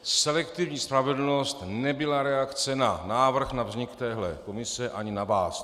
Selektivní spravedlnost nebyla reakce na návrh na vznik téhle komise ani na vás.